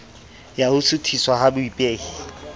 ya ho suthiswa ha baipehi